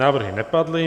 Návrhy nepadly.